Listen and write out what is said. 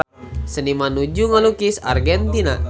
Seniman nuju ngalukis Argentina